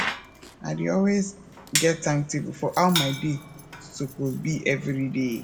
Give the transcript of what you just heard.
i dey always get timetable for how my day soppse bi evri day